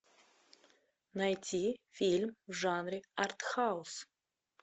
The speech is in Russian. найти фильм в жанре арт хаус